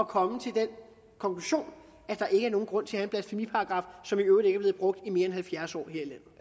komme til den konklusion at der ikke er nogen grund til at have en blasfemiparagraf som i øvrigt ikke er blevet brugt i mere end halvfjerds år